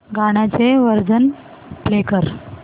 गाण्याचे version play कर